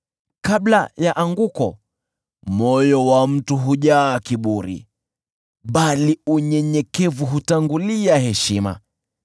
Kabla ya anguko moyo wa mtu hujaa kiburi, bali unyenyekevu hutangulia heshima.